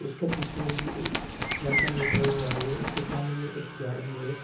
उसके पीछे में भी एक लड़का बैठा हुआ है उसको सामने में एक चेयर भी है।